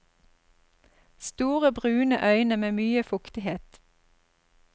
Store, brune øyne med mye fuktighet.